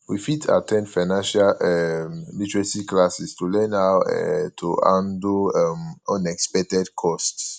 we fit at ten d financial um literacy classes to learn how um to handle um unexpected costs